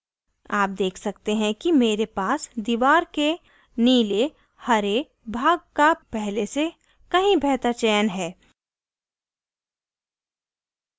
आप देख सकते हैं कि मेरे पास दीवार के नीले हरे भाग का पहले से कहीं बेहतर चयन है